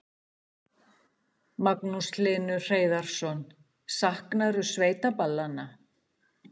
Magnús Hlynur Hreiðarsson: Saknarðu sveitaballanna?